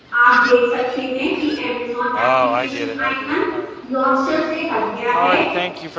आप देख सकते हैं कि amazon application icon launcher से हट गया है